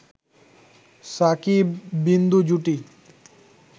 শাকিব-বিন্দু জুটি